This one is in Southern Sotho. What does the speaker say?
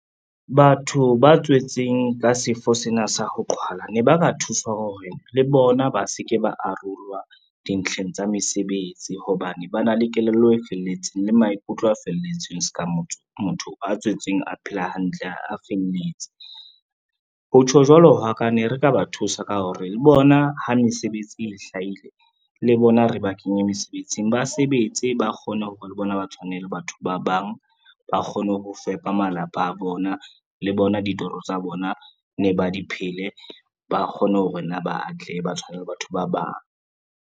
Batho ba tswetseng ka sefo sena sa ho qhwala ne ba ba thuswa hore le bona ba se ke ba arolwa dintlheng tsa mesebetsi hobane, ba na le kelello e felletseng le maikutlo a felletseng ska motho a tswetseng a phela hantle, a felletse. Ho tjho jwalo hwa ka ne re ka ba thusa ka hore le bona ha mesebetsi e hlahile le bona re ba kenye mesebetsing, ba sebetse ba kgone hore le bona ba tshwane le batho ba bang, ba kgone ho fepa malapa a bona le bona ditoro tsa bona ne ba di phele, ba kgone hore ne ba atlehe ba tshwane le batho ba bang.